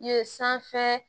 Ye sanfɛ